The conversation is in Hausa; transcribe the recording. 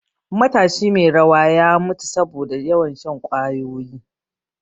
Matashi mai rawa ya mutu saboda yawan shan ƙwayoyi